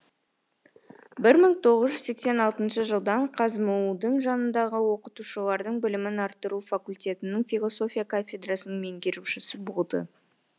бір мың тоғыз жүз сексен алтыншы жылдан қазму дың жанындағы оқытушылардың білімін арттыру факультетінің философия кафедрасының меңгерушісі болды